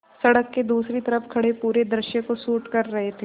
सड़क के दूसरी तरफ़ खड़े पूरे दृश्य को शूट कर रहे थे